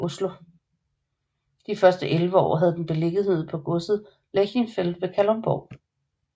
De første 11 år havde den beliggenhed på Godset Lerchenfeld ved Kalundborg